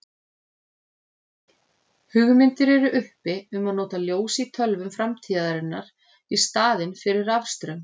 Hugmyndir eru uppi um að nota ljós í tölvum framtíðarinnar í staðinn fyrir rafstraum.